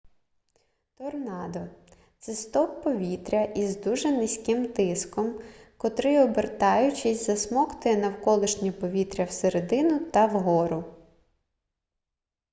торнадо це стовп повітря із дуже низьким тиском котрий обертаючись засмоктує навколишнє повітря всередину та вгору